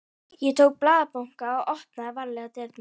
Ég tók blaðabunkann og opnaði varlega dyrnar.